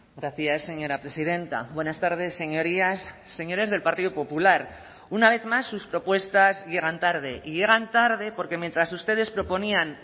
gracias señora presidenta buenas tardes señorías señores del partido popular una vez más sus propuestas llegan tarde y llegan tarde porque mientras ustedes proponían